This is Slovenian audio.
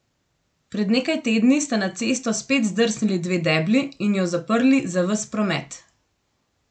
Pred nekaj tedni sta na cesto spet zdrsnili dve debli in jo zaprli za ves promet ...